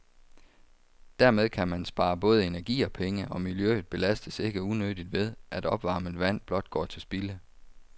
Dermed kan man spare både energi og penge, og miljøet belastes ikke unødigt ved, at opvarmet vand blot går til spilde.